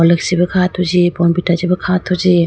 bournvita chee bi kha athuji.